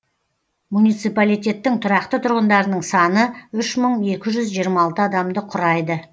муниципалитеттің тұрақты тұрғындарының саны үш мың екі жүз жиырма алты адамды құрайды